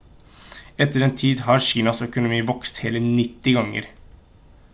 etter den tid har kinas økonomi vokst hele 90 ganger